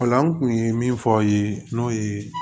Ola an kun ye min fɔ aw ye n'o ye